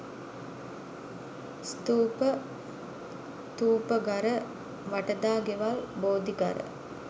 ස්ථූප, ථූපඝර වටදාගෙවල් බෝධිඝර,